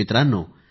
मित्रांनो